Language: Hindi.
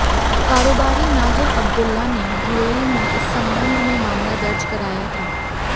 कारोबारी नाजिल अब्दुल्ला ने यूएई में इस संबंध में मामला दर्ज कराया था